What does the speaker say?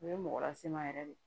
O ye mɔgɔ lase n ma yɛrɛ de